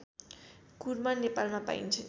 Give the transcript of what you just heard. कुर्मा नेपालमा पाइने